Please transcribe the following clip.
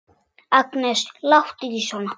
Agnes, láttu ekki svona!